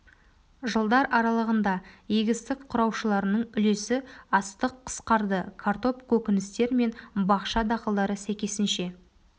жылдар аралығында егістік құраушыларының үлесі астық қысқарды картоп көкөністер мен бақша дақылдары сәйкесінше